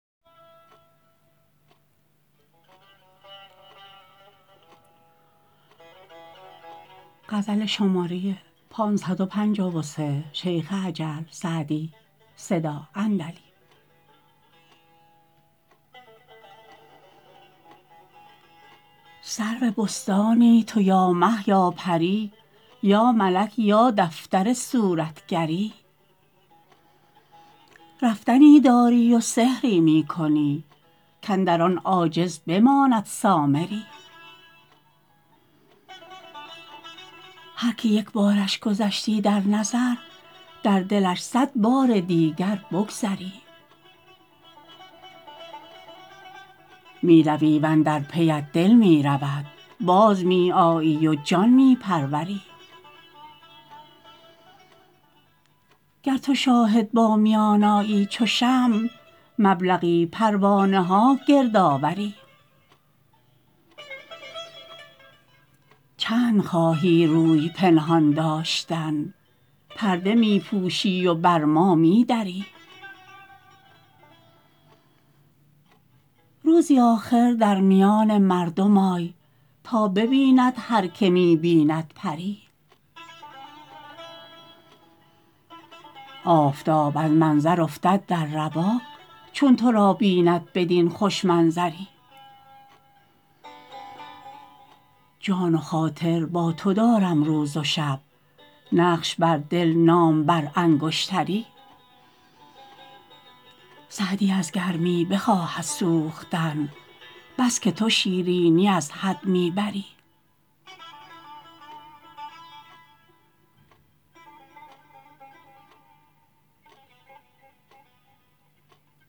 سرو بستانی تو یا مه یا پری یا ملک یا دفتر صورتگری رفتنی داری و سحری می کنی کاندر آن عاجز بماند سامری هر که یک بارش گذشتی در نظر در دلش صد بار دیگر بگذری می روی و اندر پیت دل می رود باز می آیی و جان می پروری گر تو شاهد با میان آیی چو شمع مبلغی پروانه ها گرد آوری چند خواهی روی پنهان داشتن پرده می پوشی و بر ما می دری روزی آخر در میان مردم آی تا ببیند هر که می بیند پری آفتاب از منظر افتد در رواق چون تو را بیند بدین خوش منظری جان و خاطر با تو دارم روز و شب نقش بر دل نام بر انگشتری سعدی از گرمی بخواهد سوختن بس که تو شیرینی از حد می بری